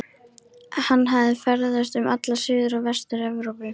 Hann hafði ferðast um alla Suður- og Vestur-Evrópu